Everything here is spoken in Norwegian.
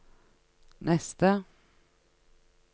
neste